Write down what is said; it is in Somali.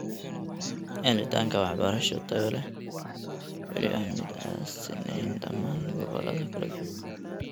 Helitaanka waxbarasho tayo leh ayaa weli ah mid aan sinnayn dhammaan gobollada kala duwan.